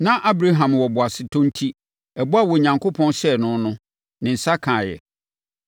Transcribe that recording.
Na Abraham wɔ boasetɔ enti, ɛbɔ a Onyankopɔn hyɛɛ no no, ne nsa kaeɛ.